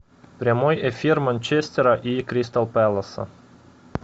прямой эфир манчестера и кристал пэласа